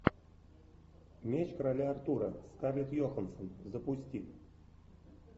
меч короля артура скарлетт йоханссон запусти